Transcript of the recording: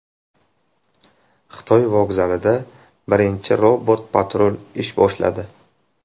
Xitoy vokzalida birinchi robot-patrul ish boshladi.